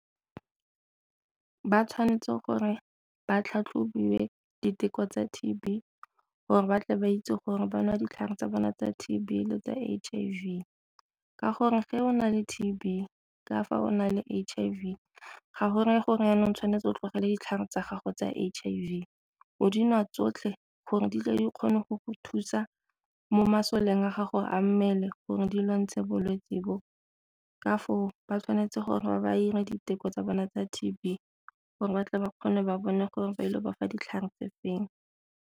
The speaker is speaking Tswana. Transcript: Ba tshwanetse gore ba tlhatlhobiwe diteko tsa T_B gore ba tle ba itse gore ba nwa ditlhare tsa bone tsa T_B le tsa H_I_V. Ka gore fa o na le T_B ka fa o na le H_I_V ga go reye gore jaanong tshwanetse o tlogele ditlhare tsa gago tsa H_I_V o dinwa tsotlhe gore di tle di kgone go go thusa mo masoleng a gago a mmele gore di lwa ntse bolwetse bo. Ka foo ba tshwanetse gore ba 'ire diteko tsa bone tsa T_B gore ba tle ba kgone ba bone gore ba ile ba fa ditlhare tse feng.